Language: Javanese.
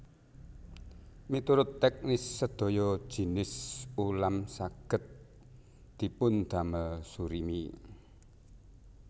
Miturut teknis sedaya jinis ulam saged dipundamel surimi